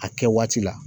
A kɛ waati la